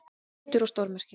Undur og stórmerki.